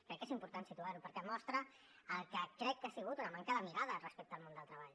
crec que és important situar ho perquè mostra el que crec que ha sigut una manca de mirada respecte al món del treball